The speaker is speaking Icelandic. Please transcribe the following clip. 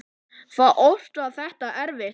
Oft var þetta erfitt.